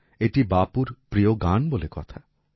এটি বাপুর প্রিয় গান বলে কথা